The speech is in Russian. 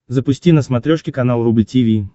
запусти на смотрешке канал рубль ти ви